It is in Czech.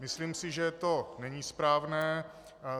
Myslím si, že to není správné.